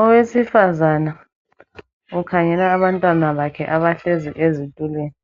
Owesifazana ukhangela abantwana bakhe abahlezi ezitulweni,